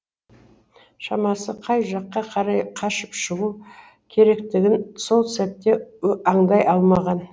шамасы қай жаққа қарай қашып шығу керектігін сол сәтте аңдай алмаған